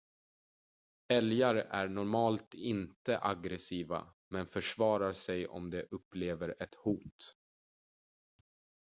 älgar är normalt inte aggressiva men försvarar sig om de upplever ett hot